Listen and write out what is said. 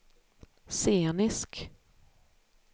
scenisk